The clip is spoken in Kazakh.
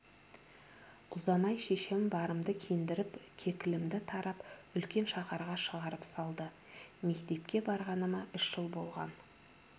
ұзамай шешем барымды киіндіріп кекілімді тарап үлкен шаһарға шығарып салды мектепке барғаныма үш жыл болған